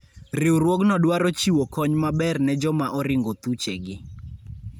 Riwruogno dwaro chiwo kony maber ne joma oringo thuchegi.